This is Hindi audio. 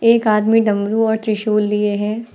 एक आदमी डमरू और त्रिशूल लिए है।